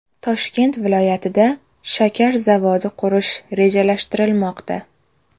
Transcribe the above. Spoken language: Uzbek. Toshkent viloyatida shakar zavodi qurish rejalashtirilmoqda.